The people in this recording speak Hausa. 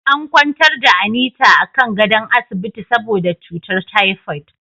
An kwantar da Anita akan gadon asibiti saboda cutar typoid.